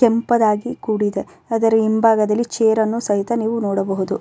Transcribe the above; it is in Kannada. ಕೆಂಪದಾಗಿ ಕೂಡಿದೆ ಅದರ ಹಿಂಭಾಗದಲ್ಲಿ ಚೈರ್ ಅನ್ನು ಸಹಿತ ನೀವು ನೋಡಬಹುದು.